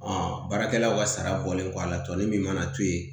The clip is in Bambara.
baarakɛlaw ka sara bɔlen kɔ a la tɔli min mana to yen